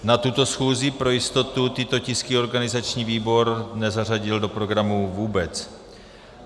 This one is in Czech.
Na tuto schůzi pro jistotu tyto tisky organizační výbor nezařadil do programu vůbec.